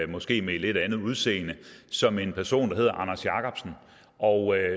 måske med et lidt andet udseende som en person der hedder anders jacobsen og